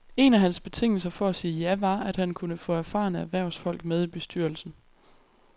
En af hans betingelser for at sige ja var, at han kunne få erfarne erhvervsfolk med i bestyrelsen.